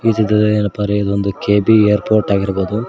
ಇದು ಏನಪ್ಪಾ ಅಂದ್ರೆ ಇದೊಂದು ಕೆ_ಇ_ಬಿ ಏರ್ಪೋರ್ಟ್ ಆಗಿರ್ಬೋದು.